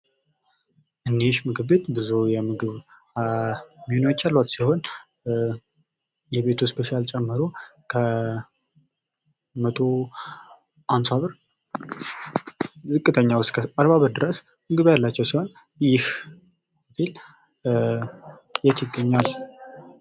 ይንይሽ ምግቤት ብዙ የምግብ ሚኖዎች ያሏት ሲሆን የቤቱ እስፔሻል ጨምሮ ከ150 ብር ዝቅተኛው እስከ 40 ብር ምግብ ያላቸው ሲሆን ይህ የት ይገኛል